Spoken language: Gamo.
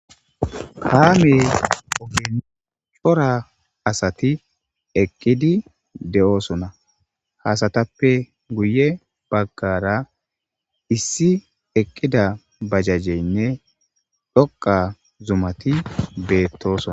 Kaame ogen cora asat eqid de'osona . Ha asatappe guye bagara issi eqida bajajeyinne dhoqa zumat betosona.